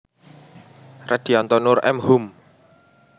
Redyanto Noor M Hum